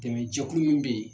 Dɛmɛ jɛkulu min bɛ yen